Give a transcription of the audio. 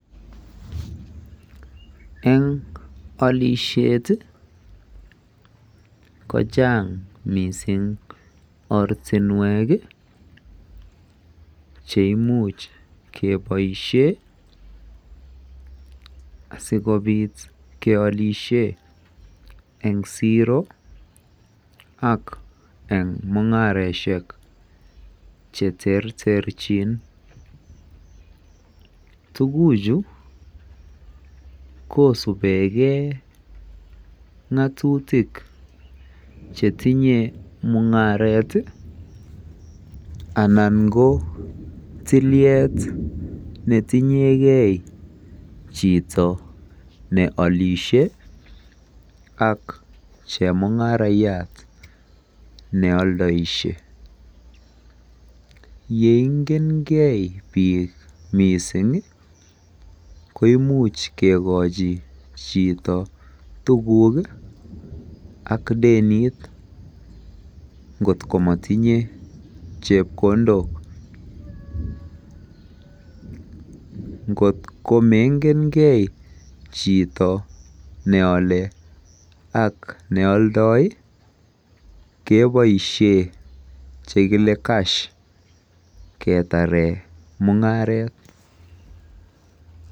Eng alisheet ii ko chaang missing ortinweek ii cheimuuch kebaisheen asikobiit kebaisheen eng siro ak eng mungaresiek che terterjiin tuguuk chuu kosupgei ak ngatutiik che tinyei mungaret ii anan ko tiliet netinye gei tiliet ne tinye gei chitoo ne alishe ak chemungarariat ne aldaishe ye ingeen gei biik missing ii koimuuch kegachii chitoo tuguuk ii deniit ngoot ko matinyei chepkondook ngoot mangeen gei chitoo ne Yale ak neyaldai ii kebaisheen chekile [cash ] ketareen mungaret.